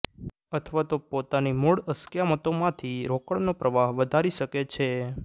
અથવા તો પોતાની મૂળ અસ્ક્યામતોમાંથી રોકડનો પ્રવાહ વધારી શકે છે